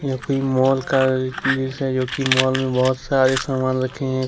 यह कोई माल का दृश्य है जो की मॉल में बहुत सारे सामान रखे हैं।